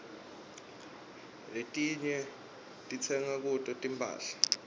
letinyg ditsenga kuto timphahla